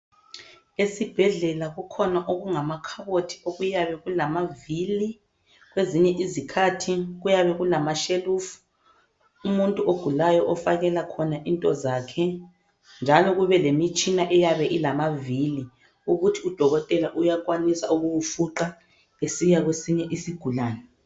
esibhedlela kukhona okungamakhabothi okuyabe kulamavili kwezinye izikhathi kuyabe kulama shelufu umuntu ogulayo ofakela khona into zakhe njalo kube lemitshina eyabe ilamavili ukuthi udokotela uyakwanisa ukukufuqa esiya kwesinye isigulane